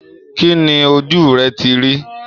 Kí ni ojú rẹ ti rí?